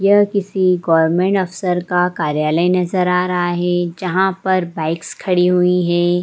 यहां किसी गोवेर्मेंट अफ़सर का कार्यालय नजर आ रहा है जहां पर बाइक्स खड़ी हुई है।